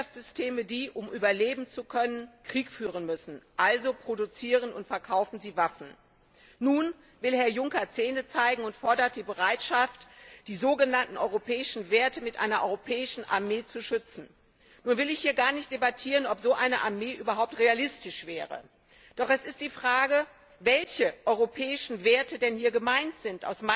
Es gibt Wirtschaftssysteme, die, um überleben zu können, Krieg führen müssen. Also produzieren und verkaufen sie Waffen. Nun will Herr Juncker Zähne zeigen und fordert die Bereitschaft, die sogenannten europäischen Werte mit einer europäischen Armee zu schützen. Ich will hier gar nicht debattieren, ob so eine Armee überhaupt realistisch wäre. Doch es ist die Frage, welche europäischen Werte denn hier gemeint sind.